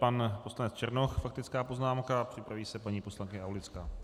Pan poslanec Černoch, faktická poznámka, připraví se paní poslankyně Aulická.